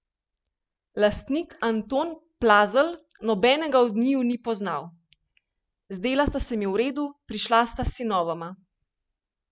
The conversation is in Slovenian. Lastnik Anton Plazl nobenega od njiju ni poznal: "Zdela sta se mi v redu, prišla sta s sinovoma.